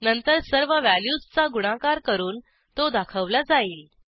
नंतर सर्व व्हॅल्यूजचा गुणाकार करून तो दाखवला जाईल